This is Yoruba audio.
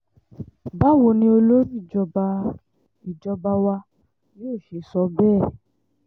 báwo ni olórí ìjọba ìjọba wa yóò ṣe sọ bẹ́ẹ̀